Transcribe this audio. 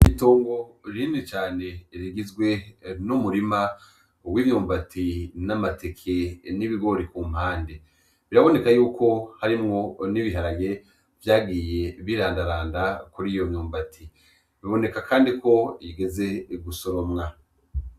Itongo rinini cane rigizwe n' umurima w' imyumbati n' amateke n' ibigori kumpande biraboneka yuko harimwo nibiharage vyagiye birandaranda kuriyo myumbati biboneka kandi ko bigeze gusoromwa.